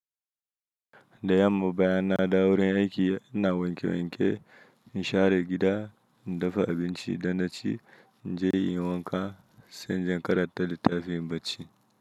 Da yamma, bayan na dawo wurin aiki ina wanke-wanke, in share gida, in dafa abinci, idan na ci, na je in wanka, sannan na karanta littafi in barci.